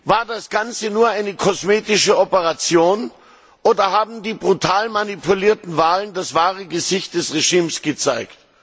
War das Ganze nur eine kosmetische Operation oder haben die brutal manipulierten Wahlen das wahre Gesicht des Regimes gezeigt?